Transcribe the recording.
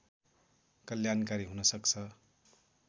कल्याणकारी हुन सक्छ